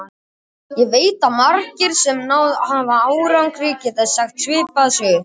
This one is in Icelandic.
Ég veit að margir, sem náð hafa árangri, geta sagt svipaða sögu.